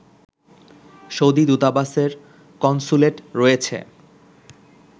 Saudi দূতাবাসের consulate রয়েছে